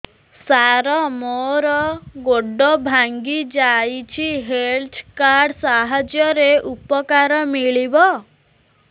ସାର ମୋର ଗୋଡ଼ ଭାଙ୍ଗି ଯାଇଛି ହେଲ୍ଥ କାର୍ଡ ସାହାଯ୍ୟରେ ଉପକାର ମିଳିବ